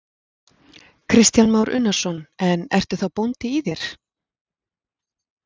Kristján Már Unnarsson: En ertu þá bóndi í þér?